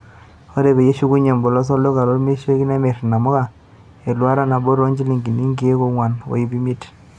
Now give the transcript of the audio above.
Oree peyie eshukinye embolos olduka lomirishoreki, nemirr inamuka eluata nabo too njilingini inkeek onguan ooiip imeit.